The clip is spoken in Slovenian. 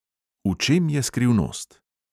V čem je skrivnost?